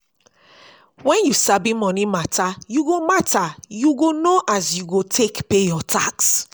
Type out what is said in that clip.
wen you sabi moni mata yu go mata yu go know as you go take pay yur tax